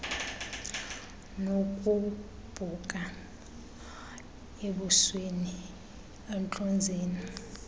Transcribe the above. nokugubhuka ebusweni entlonzeni